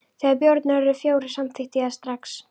Þegar bjórarnir urðu fjórir, samþykkti ég það strax.